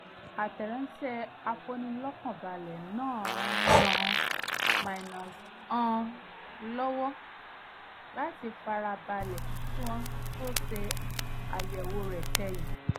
àtẹ̀ránṣẹ́ afinilọ́kànbale náà ràn-án lọ́wọ́ láti farabalẹ̀ kí wọ́n tó ṣe àyẹ̀wò rẹ̀ kẹ́yìn